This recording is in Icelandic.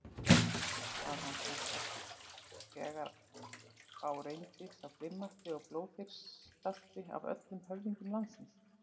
Var hann samt ekki þegar á reyndi sá grimmasti og blóðþyrstasti af öllum höfðingjum landsins?